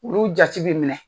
Olu jati bɛ minɛ